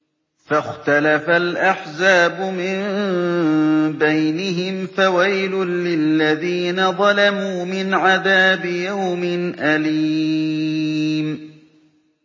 فَاخْتَلَفَ الْأَحْزَابُ مِن بَيْنِهِمْ ۖ فَوَيْلٌ لِّلَّذِينَ ظَلَمُوا مِنْ عَذَابِ يَوْمٍ أَلِيمٍ